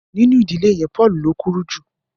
Nínú ìdílé yén Paul ní o kúrú jù.